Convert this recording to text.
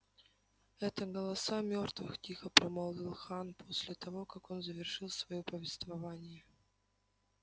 это голоса мёртвых тихо промолвил хан после того как он завершил своё повествование